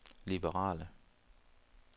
liberale